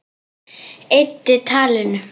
Eyddi talinu.